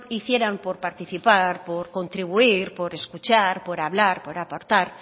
hicieran por participar por contribuir por escuchar por hablar por aportar